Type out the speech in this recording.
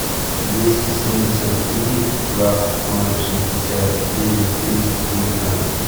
двести семьдесят три двадцать ноль шестьдесят девять триста девятнадцать